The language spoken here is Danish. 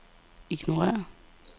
ignorér